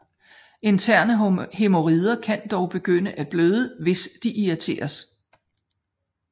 Interne hæmorider kan dog begynde at bløde hvis de irriteres